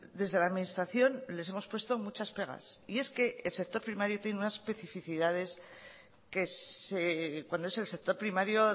desde la administración les hemos puesto muchas pegas y es que el sector primario tiene unas especificidades que cuando es el sector primario